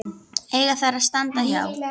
eiga þar að standa hjá.